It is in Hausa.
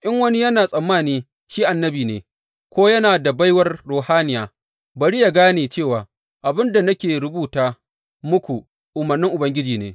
In wani yana tsammani shi annabi ne, ko yana da baiwar ruhaniya, bari yă gane cewa abin da nake rubuta muku umarnin Ubangiji ne.